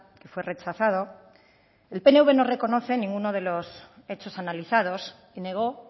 que fue rechazado el pnv no reconoce ninguno de los hechos analizados y negó